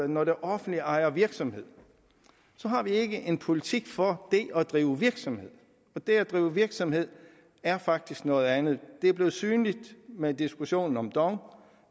når det offentlige ejer virksomhed har vi ikke en politik for det at drive virksomhed og det at drive virksomhed er faktisk noget andet det er blevet synligt med diskussionen om dong